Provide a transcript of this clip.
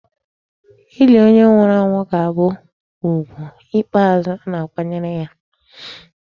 Ili onye nwụrụ anwụ ga-abụ ugwu ikpeazụ a na-akwanyere ya.